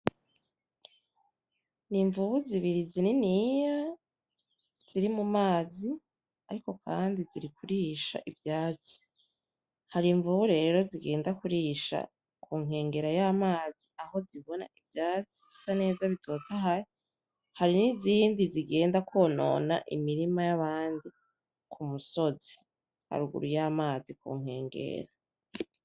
N' imvubu zibiri zininiya ziri mumazi, ariko kandi ziri kurisha ivyatsi. Hari imvubu rero zigenda kurisha kunkengera y' amazi aho zibona ivyatsi bisa neza bitotahaye, hari n' izindi zigenda kwonona imirima y'abandi kumusozi haruguru yamazi kunkengero.